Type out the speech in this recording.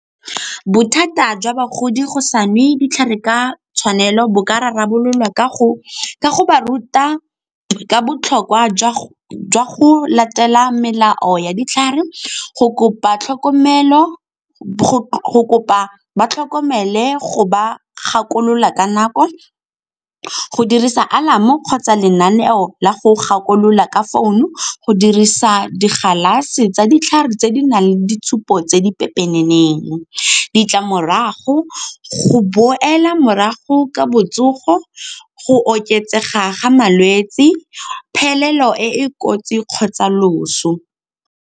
Bothata jwa bagodi go sa nwe ditlhare ka tshwanelo bo ka rarabololwa ka go ba ruta ka botlhokwa jwa go latela melao ya ditlhare, go kopa ba tlhokomele go ba gakolola ka nako, go dirisa alarm-o kgotsa lenaneo la go gakolola ka founu, go dirisa di galase tsa ditlhare tse di nang le ditshupo tse di pepeneneng. Ditlamorago, go boela morago ka botsogo, go oketsega ga malwetse, phelelo e e kotsi kgotsa loso.